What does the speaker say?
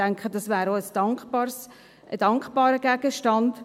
Ich denke, das wäre auch ein dankbarer Gegenstand.